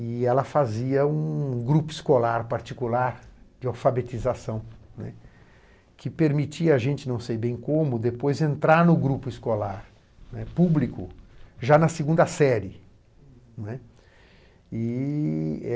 e ela fazia um grupo escolar particular de alfabetização, né, que permitia a gente, não sei bem como, depois entrar no grupo escolar público, né, já na segunda série, né. E